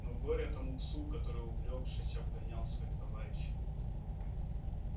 но горе тому псу который увлёкшись обгонял своих товарищей